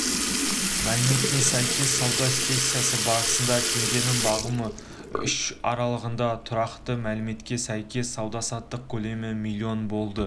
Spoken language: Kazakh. мәліметіне сәйкес сауда сессиясы барысында теңгенің бағамы үшін аралығында тұрақтады мәліметіне сәйкес сауда-саттық көлемі млн болды